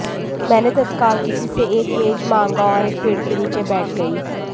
मैंने तत्काल किसी से एक मेज मांगा और एक पेड़ के नीचे बैठ गई